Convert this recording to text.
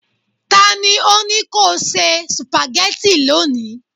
ta ni o ni ko se spaghetti loni